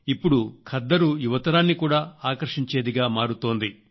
ఇప్పుడు ఖద్దరు యువతరాన్ని కూడా ఆకర్షించేదిగా మారుతోంది